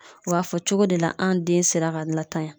U b'a fɔ cogo de la an den sera ka latanya